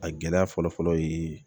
A gɛlɛya fɔlɔ fɔlɔ ye